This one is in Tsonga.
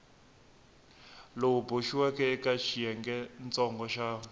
lowu boxiweke eka xiyengentsongo xa